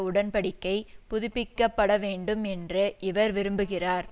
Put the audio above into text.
உடன் படிக்கை புதுப்பிக்க பட வேண்டும் என்று இவர் விரும்புகிறார்